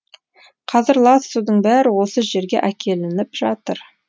қазір лас судың бәрі осы жерге әкелініп жатыр